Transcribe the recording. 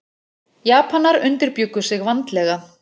Japanar undirbjuggu sig vandlega.